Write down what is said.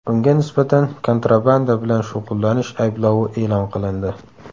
Unga nisbatan kontrabanda bilan shug‘ullanish ayblovi e’lon qilindi.